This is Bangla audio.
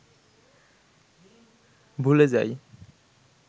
ভুলে যাই